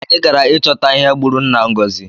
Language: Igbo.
Anyi gara ịchọta ihe gbụrụ nna Ngozi